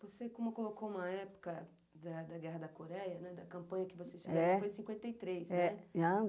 Você, como colocou uma época da da Guerra da Coreia, né, da campanha que vocês fizeram, foi em cinquenta e três, né?